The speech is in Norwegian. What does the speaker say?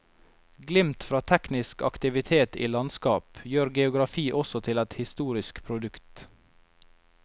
Glimt fra teknisk aktivitet i landskap, gjør geografi også til et historisk produkt.